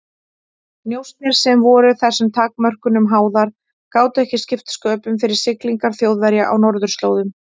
Njósnir, sem voru þessum takmörkunum háðar, gátu ekki skipt sköpum fyrir siglingar Þjóðverja á norðurslóðum.